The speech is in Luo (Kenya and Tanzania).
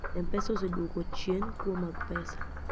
mpesa oseduoko chien kuo mag pesa